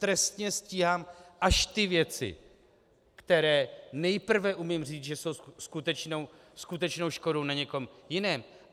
Trestně stíhám až ty věci, které nejprve umím říct, že jsou skutečnou škodou na někom jiném.